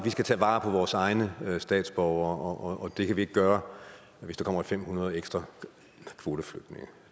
skal tage vare på vores egne statsborgere og at det kan vi ikke gøre hvis der kommer fem hundrede ekstra kvoteflygtninge